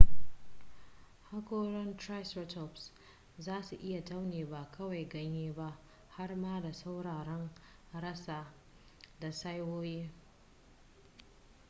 hakoran triceratops za su iya taune ba kawai ganye ba har ma da tsauraran rassa da saiwoyi